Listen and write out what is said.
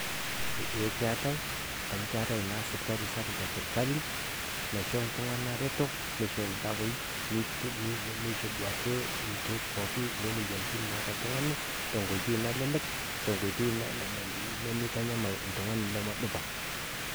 Eeh keatai amu keatai naa siptali sapuk e sirkali naisho iltung'ana reto neisho  ildawai neisho duake ilkeek pooki leemuoyaritin naata ltung'ani tenkoitoi nalelek tenkoitoi nemeitanyamal ltung'ani lamedupa.